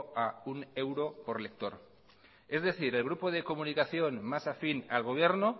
a uno euro por lector es decir el grupo de comunicación más afín al gobierno